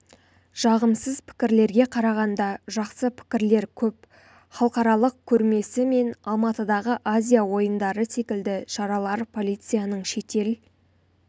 жағымсыз пікірлерге қарағанда жақсы пікірлер көп халықаралық көрмесі мен алматыдағы азия ойындары секілді шаралар полицияның шетел